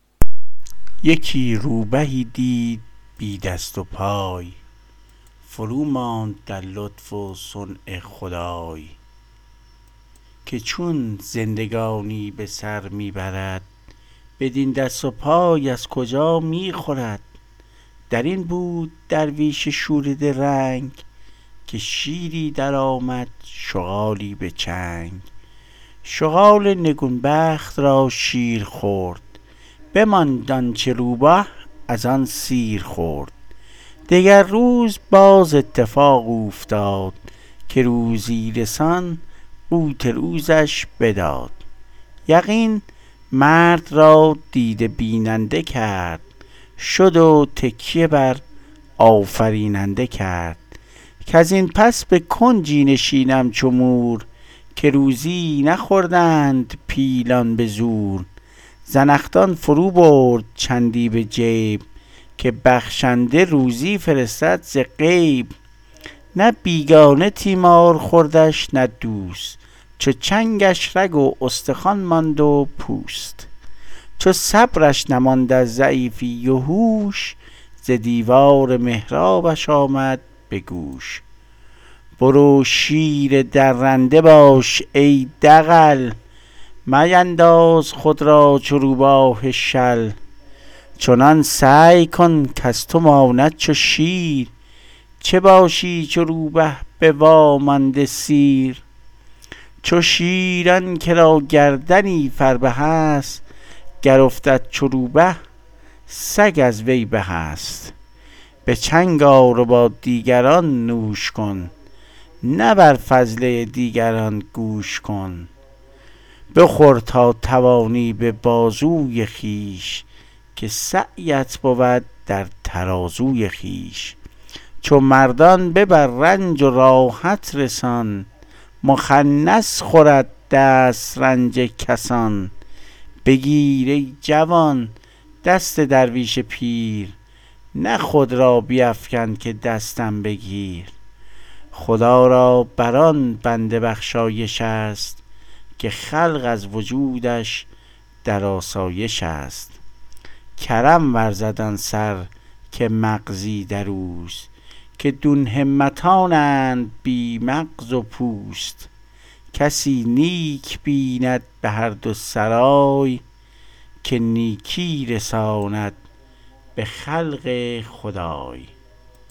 یکی روبهی دید بی دست و پای فروماند در لطف و صنع خدای که چون زندگانی به سر می برد بدین دست و پای از کجا می خورد در این بود درویش شوریده رنگ که شیری درآمد شغالی به چنگ شغال نگون بخت را شیر خورد بماند آنچه روبه از آن سیر خورد دگر روز باز اتفاق اوفتاد که روزی رسان قوت روزش بداد یقین مرد را دیده بیننده کرد شد و تکیه بر آفریننده کرد کز این پس به کنجی نشینم چو مور که روزی نخوردند پیلان به زور زنخدان فرو برد چندی به جیب که بخشنده روزی فرستد ز غیب نه بیگانه تیمار خوردش نه دوست چو چنگش رگ و استخوان ماند و پوست چو صبرش نماند از ضعیفی و هوش ز دیوار محرابش آمد به گوش برو شیر درنده باش ای دغل مینداز خود را چو روباه شل چنان سعی کن کز تو ماند چو شیر چه باشی چو روبه به وامانده سیر چو شیر آن که را گردنی فربه است گر افتد چو روبه سگ از وی به است به چنگ آر و با دیگران نوش کن نه بر فضله دیگران گوش کن بخور تا توانی به بازوی خویش که سعیت بود در ترازوی خویش چو مردان ببر رنج و راحت رسان مخنث خورد دسترنج کسان بگیر ای جوان دست درویش پیر نه خود را بیفکن که دستم بگیر خدا را بر آن بنده بخشایش است که خلق از وجودش در آسایش است کرم ورزد آن سر که مغزی در اوست که دون همتانند بی مغز و پوست کسی نیک بیند به هر دو سرای که نیکی رساند به خلق خدای